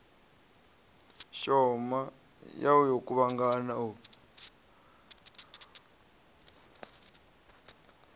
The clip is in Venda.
shoma ya u kuvhangana u